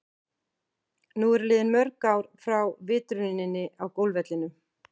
Nú eru liðin mörg ár frá vitruninni á golfvellinum.